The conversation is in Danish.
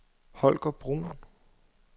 Holger Bruun